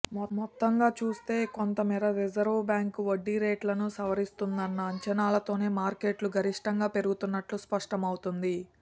మొత్తంగాచూస్తే కొంతమేర రిజర్వుబ్యాంకు వడ్డీరేట్లను సవరిస్తుందన్న అంచనాలతోనే మార్కెట్లు గరిష్టంగా పెరిగినట్లు స్పష్టం అవుతోంది